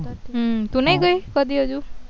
હ તું નઈ કઈ હજુ